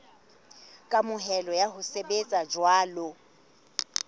kamohelo ya ho sebetsa jwalo